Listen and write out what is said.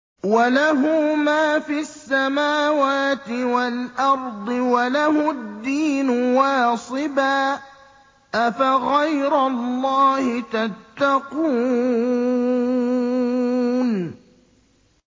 وَلَهُ مَا فِي السَّمَاوَاتِ وَالْأَرْضِ وَلَهُ الدِّينُ وَاصِبًا ۚ أَفَغَيْرَ اللَّهِ تَتَّقُونَ